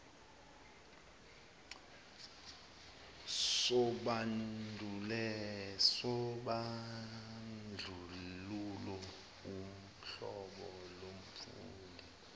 sobandlululo uhlobo lomfundi